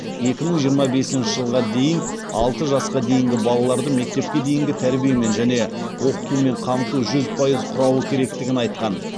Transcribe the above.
екі мың жиырма бесінші жылға дейін алты жасқа дейінгі балаларды мектепке дейінгі тәрбиемен және оқытумен қамту жүз пайыз құрауы керектігін айтқан